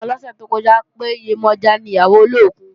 Táyọ̀ sọ fún wa lọ́sẹ̀ tó kọjá pé, Yemọja ni ìyàwó olókùn